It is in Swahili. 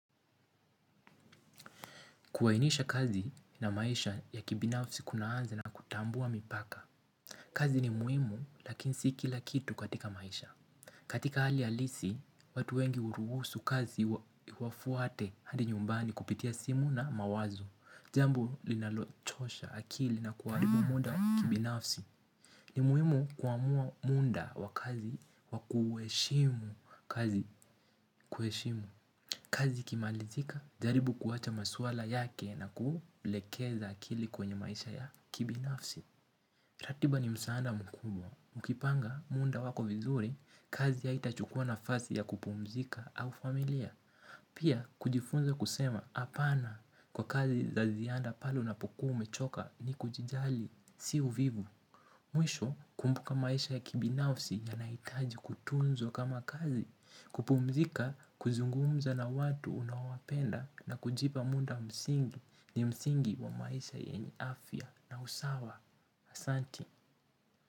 Kuainisha kazi na maisha ya kibinafsi kunaanza na kutambua mipaka. Kazi ni muhimu lakini sii kila kitu katika maisha. Katika hali halisi, watu wengi huruhusu kazi iwafuate hadi nyumbani kupitia simu na mawazo. Jambo linalochosha akili na kuharibu muda wa kibinafsi. Ni muhimu kuamua muda wa kazi wa kuheshimu kazi. Kuheshimu kazi ikimalizika jaribu kuwacha maswala yake na kuulekeza akili kwenye maisha ya kibinafsi. Ratiba ni msaada mkubwa. Mkipanga muda wako vizuri kazi haitachukua nafasi ya kupumzika au familia. Pia kujifunza kusema hapana kwa kazi za ziada pale unapokuwa umechoka ni kujijali si uvivu mwisho kumbuka maisha ya kibinafsi yanahitaji kutunzwa kama kazi kupumzika kuzungumza na watu unaowapenda na kujipa muda msingi ni msingi wa maisha yenye afya na usawa ahsante.